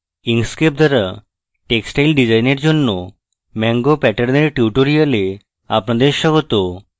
inkscape দ্বারা textile ডিজাইনের জন্য mango প্যাটার্নের tutorial আপনাদের স্বাগত